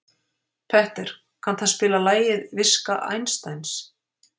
Petter, kanntu að spila lagið „Viska Einsteins“?